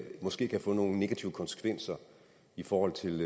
måske kan få nogle negative konsekvenser i forhold til